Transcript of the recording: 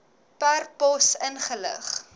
per pos ingelig